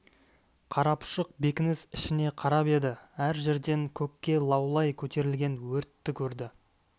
қарапұшық бекініс ішіне қарап еді әр жерден көкке лаулай көтерілген өртті көрді